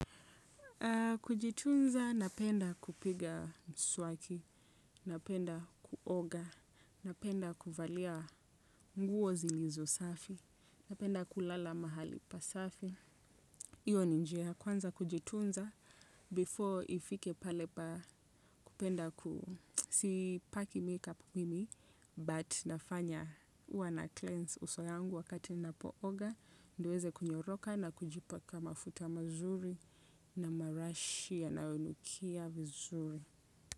Kujitunza napenda kupiga mswaki, napenda kuoga, napenda kuvalia nguo zilizo safi, napenda kulala mahali pasafi. Hiyo ni njia ya kwanza kujitunza before ifike pale pa kupenda sipaki makeup mimi but nafanya huwa nacleanse uso yangu wakati ninapooga ndiyo uweze kunyoroka na kujipaka mafuta mazuri na marashi yanayonukia vizuri.